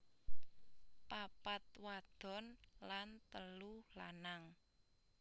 Papat wadon lan telu lanang